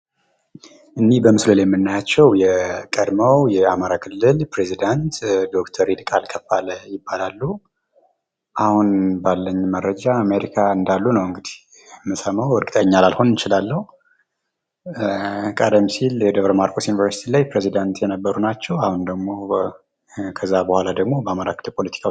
እኒህ በምስሉ ላይ የምናያቸው የቀድሞው የአማራ ክልል ፕሬዘዳንት ዶ/ር ይልቃል ከፋለ ይባላሉ። አሁን ባለን መረጃ አሜሪካ እንዳሉ ነው እንግዲህ የምንሰማው እርግጠኛ ላልሆን እችላለሁ። ቀደም ሲል የደብረ-ማርቆስ ዩኔርሲቲ ፕሬዘዳንት የነበሩ ናቸው። አሁን ደግሞ ከዚያ በኋላ ደግሞ በአማራ ክልል ፖለቲካ...